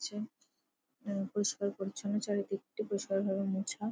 রয়েছে। আ- পরিস্কার-পরিছন্ন চারিদিকটি। পরিস্কারভাবে মোছা।